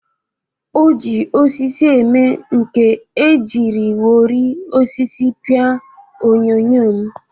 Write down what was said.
O ji osisi eme nka e jiriwori osisi pịa onyonyo m